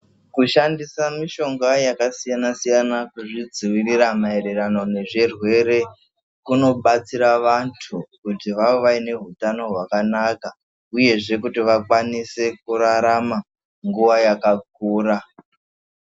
Kushandisa mishonga yakasiyana siyana kuzvidzivirira maererano nezvirwere kunobatsira vantu kuti vave vaine utano hwakanaka uyezve kuti vakwanise kurarama nguwa yakakura